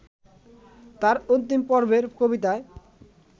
তাঁর অন্তিমপর্বের কবিতায়